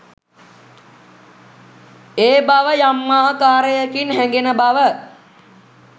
ඒ බව යම් ආකාරයකින් හැඟෙන බව